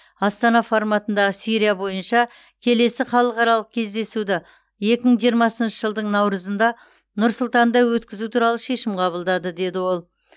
астана форматындағы сирия бойынша келесі халықаралық кездесуді екі мың жиырмасыншы жылдың наурызында нұр сұлтанда өткізу туралы шешім қабылдады деді ол